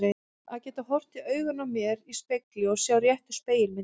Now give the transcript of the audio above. Að geta horft í augun á mér í spegli og sjá réttu spegilmyndina.